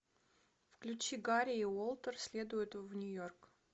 включи гарри и уолтер следуют в нью йорк